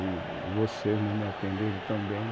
De vocês me atenderem tão bem